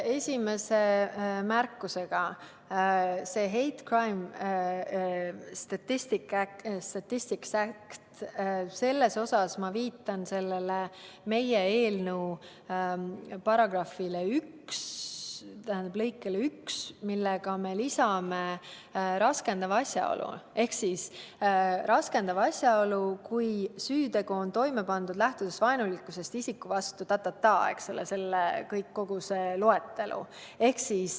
Esimene märkus, see Hate Crime Statistics Act – selle puhul ma viitan meie eelnõu § 1 lõikele 1, millega me lisame raskendava asjaolu, ehk raskendav asjaolu on see, kui süütegu on toime pandud lähtudes vaenulikkusest isiku vastu jne, kogu see loetelu.